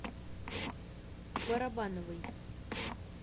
барабановой